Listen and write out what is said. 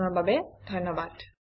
যোগদানৰ বাবে ধন্যবাদ